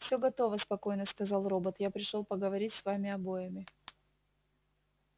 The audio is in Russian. все готово спокойно сказал робот я пришёл поговорить с вами обоими